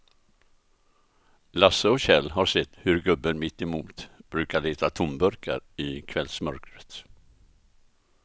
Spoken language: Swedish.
Lasse och Kjell har sett hur gubben mittemot brukar leta tomburkar i kvällsmörkret.